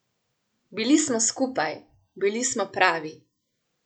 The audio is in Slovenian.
Bili smo skupaj, bili smo pravi.